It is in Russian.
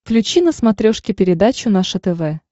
включи на смотрешке передачу наше тв